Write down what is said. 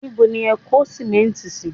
Níbo ni ẹ kó sìmẹ́ǹtì sí?